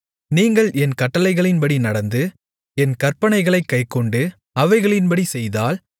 நீங்கள் என் கட்டளைகளின்படி நடந்து என் கற்பனைகளைக் கைக்கொண்டு அவைகளின்படி செய்தால்